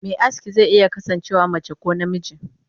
Me aski ze iya kasan cewa mace ko namiji.